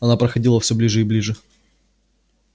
она подходила все ближе и ближе